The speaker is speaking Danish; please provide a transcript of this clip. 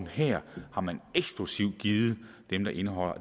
har man eksklusivt givet